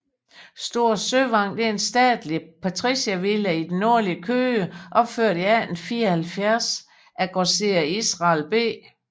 Store Søvang er en statelig patriciervilla i det nordlige Køge opført i 1874 af grosserer Israel B